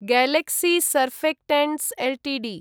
Galaxy Surfactants Ltd